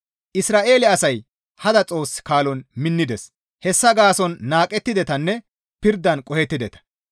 Isra7eele asay hada xoos kaalon minnides. Hessa gaason naaqettidetanne pirdan qohettideta.